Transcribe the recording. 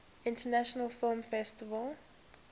international film festival